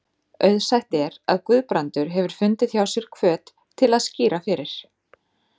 Auðsætt er, að Guðbrandur hefur fundið hjá sér hvöt til að skýra fyrir